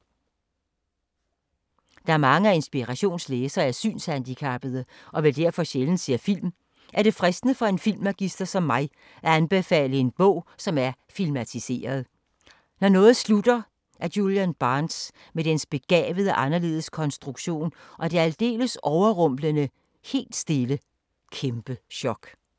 Da mange af Inspirations læsere er synshandicappede, og vel derfor sjældent ser film, er det fristende for en filmmagister som mig at anbefale en bog, som er filmatiseret: Når noget slutter af Julian Barnes, med dens begavet-anderledes konstruktion og det aldeles overrumplende, helt stille ... kæmpe-chok ...